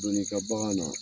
Don'i ka bagan na